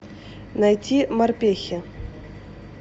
найти морпехи